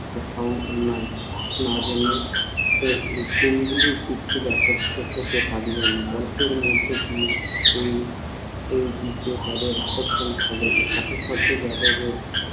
একটি কথাও না জেনে এর গুণাবলীর দিকে আকর্ষিত হতে থাকবেন। গল্পের মধ্য দিয়ে এই সেই দিকে তাঁদের আকর্ষণ হবে, সাথে সাথে যাদবের